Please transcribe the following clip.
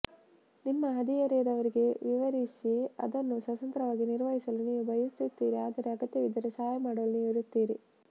ನಿಮ್ಮ ಹದಿಹರೆಯದವರಿಗೆ ವಿವರಿಸಿ ಅದನ್ನು ಸ್ವತಂತ್ರವಾಗಿ ನಿರ್ವಹಿಸಲು ನೀವು ಬಯಸುತ್ತೀರಿ ಆದರೆ ಅಗತ್ಯವಿದ್ದರೆ ಸಹಾಯ ಮಾಡಲು ನೀವು ಇರುತ್ತೀರಿ